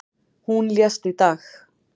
Hún lést í dag.